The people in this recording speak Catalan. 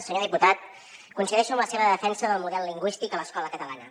senyor diputat coincideixo en la seva defensa del model lingüístic a l’escola catalana